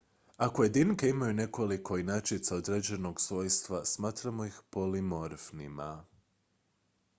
ako jedinke imaju nekoliko inačica određenog svojstva smatramo ih polimorfnima